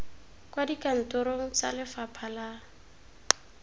kwa dikantorong tsa lefapha la